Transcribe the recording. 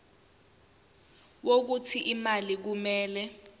wokuthi imali kumele